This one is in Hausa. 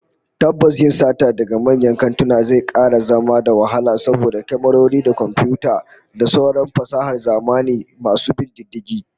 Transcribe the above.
Tabbas yin sata daga manyan kantuna zai kara zama da wahala saboda kyamarori da komfiyuta da sauran fasahar zamani masu bin diddigi